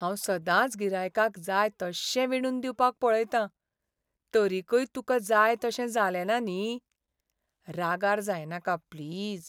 हांव सदांच गिरायकाक जाय तश्शें विणून दिवपाक पळयतां. तरीकय तुका जाय तशें जालेंना न्ही? रागार जायनाका प्लीज.